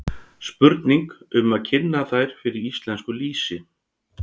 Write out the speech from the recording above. Spurning um að kynna þær fyrir íslensku lýsi?